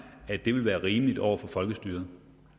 at det ville være rimeligt over for folkestyret